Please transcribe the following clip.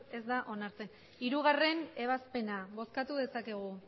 ez da onartzen hirugarrena ebazpena bozkatu dezakegu